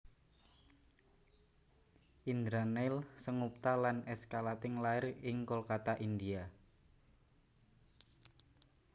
Indraneil Sengupta lan escalating lair ing Kolkata India